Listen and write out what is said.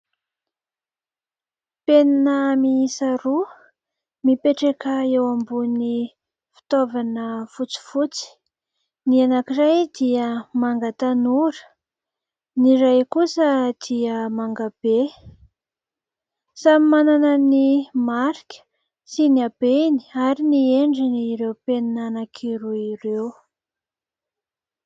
Penina miisa roa mipetraka eo ambonin'ny fitaovana fotsifotsy, ny anankiray dia manga tanora ny iray kosa dia manga be. Samy manana ny marika sy ny habeny ary ny endriny ireo penina anankiroa ireo.